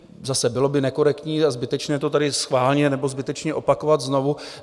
Zase, bylo by nekorektní a zbytečné to tady schválně nebo zbytečně opakovat znovu.